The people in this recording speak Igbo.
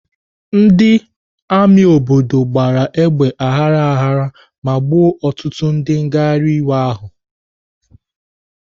Ndị amị bidoro gbawa egbe aghara ghara ma gbuo ọtụtụ ndị nghariwe iwe ahụ.